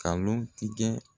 Galon tigɛ